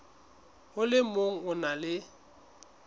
le o mong o na